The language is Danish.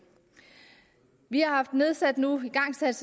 vi har nu igangsat